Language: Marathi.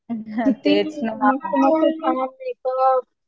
हा तेच ना